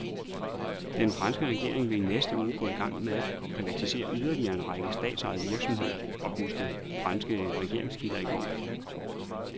Den franske regering vil i næste uge gå i gang med at privatisere yderligere en række statsejede virksomheder, oplyste franske regeringskilder i går.